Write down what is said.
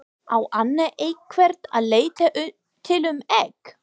Á Anna einhvern að leita til um egg?